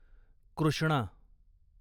Krishna